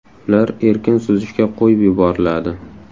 Ular erkin suzishga qo‘yib yuboriladi.